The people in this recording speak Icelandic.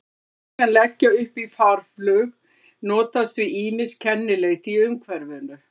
Fuglar sem leggja upp í farflug notast við ýmis kennileiti í umhverfinu.